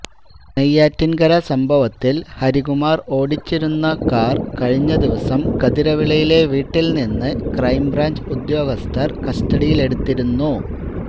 നെയ്യാറ്റിന്കര സംഭവത്തില് ഹരികുമാര് ഓടിച്ചിരുന്ന കാര് കഴിഞ്ഞ ദിവസം കതിരവിളയിലെ വീട്ടില്നിന്ന് ക്രൈംബ്രാഞ്ച് ഉദ്യോഗസ്ഥര് കസ്റ്റഡിയിലെടുത്തിരുന്നു